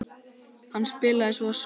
Hann spilaði svo spaða.